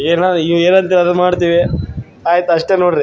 ಏನ ನೀವ್ ಎನಂತೀರ ಅದನ್ನ ಮಾತೀವಿ ಆಯಿತ ಅಷ್ಟೆ ನೋಡ್ರಿ.